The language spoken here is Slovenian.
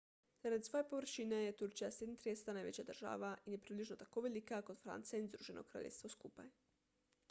zaradi svoje površine je turčija 37 največja država in je približno tako velika kot francija in združeno kraljestvo skupaj